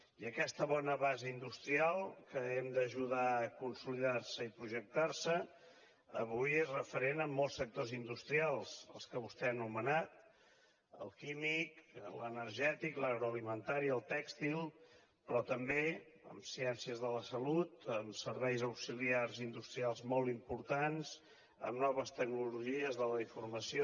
i aquesta bona base industrial que hem d’ajudar a consolidar i projectar avui és referent en molts sectors industrials els que vostè ha anomenat el químic l’energètic l’agroalimentari i el tèxtil però també en ciències de la salut en serveis auxiliars industrials molt importants en noves tecnologies de la informació